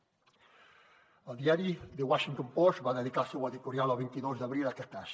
el diari the washington post va dedicar el seu editorial el vint dos d’abril a aquest cas